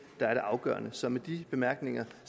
der er det afgørende så med de bemærkninger